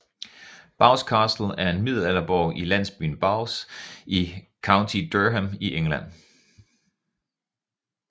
Bowes Castle er en middelalderborg i landsbyen Bowes i County Durham i England